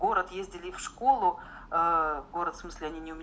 город ездили в школу город смысле